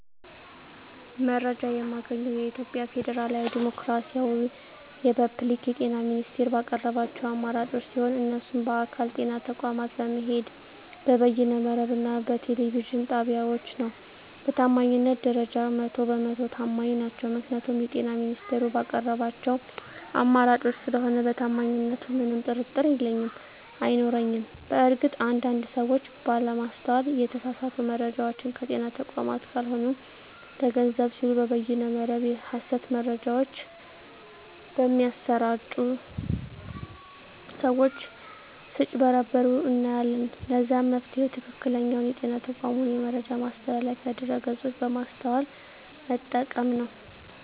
መረጃ የማገኘዉ የኢትዮጵያ ፌደራላዊ ዲሞክራሲያዊ የፐብሊክ የጤና ሚኒስቴር ባቀረባቸዉ አማራጮች ሲሆን እነሱም በአካል (ጤና ተቋማት በመሄድ)፣ በበይነ መረብ እና በቴሌቪዥን ጣቢያወች ነዉ። በታማኝነት ደረጃ 100 በ 100 ተማኝ ናቸዉ ምክንያቱም የጤና ሚኒስቴሩ ባቀረባቸዉ አማራጮች ስለሆነ በታማኝነቱ ምንም ጥርጥር የለኝም አይኖረኝም። በእርግጥ አንድ አንድ ሰወች ባለማስተዋል የተሳሳቱ መረጃወችን ከጤና ተቋማት ካልሆኑ ለገንዘብ ሲሉ በበይነ መረብ የሀሰት መረጃወች በሚያሰራጪ ሰወች ስጭበረበሩ እናያለን ለዛም መፍትሄዉ ትክክለኛዉ የጤና ተቋሙን የመረጃ ማስተላለፊያ ድረገፆች በማስተዋል መጠቀም ነዉ።